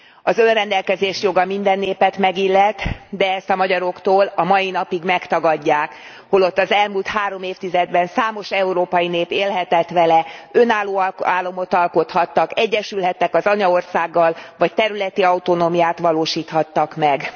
Az önrendelkezés joga minden népet megillet, de ezt a magyaroktól a mai napig megtagadják, holott az elmúlt három évtizedben számos európai nép élhetett vele, önálló államot alkothattak, egyesülhettek az anyaországgal vagy területi autonómiát valósíthattak meg.